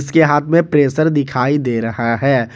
के हाथ में प्रेशर दिखाई दे रहा है।